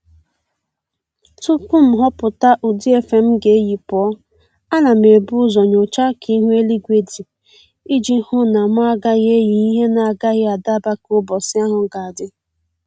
Tupu m ghọpụta ụdị efe m ga-eyi pụọ, ana m ebu ụzọ nyochaa ka ihu eluigwe dị iji hụ na mụ agaghị eyị ihe na-agaghị adaba ka ụbọchị ahụ ga-adị